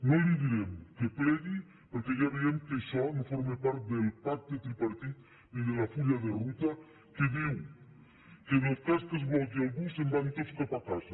no li direm que plegui perquè ja veiem que això no forma part del pacte tripartit ni del full de ruta que diu que en el cas que es mogui algú se’n van tots cap a casa